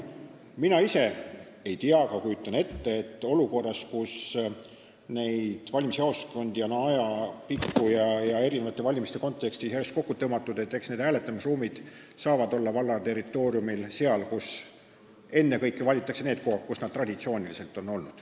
Mina ise ei tea, aga kujutan ette, et olukorras, kus neid valimisjaoskondi on ajapikku ja eri valimiste kontekstis järjest kokku tõmmatud, valitakse hääletusruumideks ennekõike need kohad, kus nad traditsiooniliselt on olnud.